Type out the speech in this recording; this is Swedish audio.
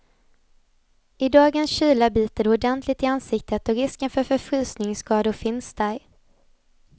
I dagens kyla biter det ordentligt i ansiktet och risken för förfrysningsskador finns där.